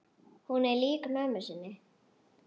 Hún er lík mömmu sinni.